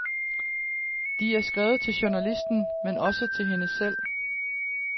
De er skrevet til journalisten, men også til hende selv.